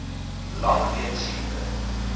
lank weens siekte